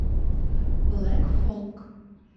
блэк фолк